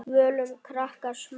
Völum krakkar smala.